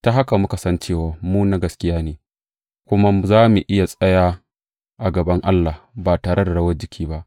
Ta haka muka san cewa mu na gaskiya ne, kuma za mu iya tsaya a gaban Allah ba tare da rawar jiki ba.